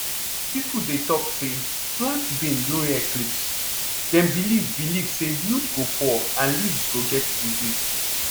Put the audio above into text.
people dey talk say plant bean during eclipse dem believe believe say yield go poor and leaves go get disease